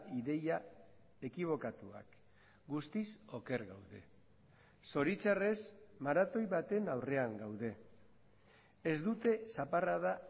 ideia ekibokatuak guztiz oker gaude zoritxarrez maratoi baten aurrean gaude ez dute zaparrada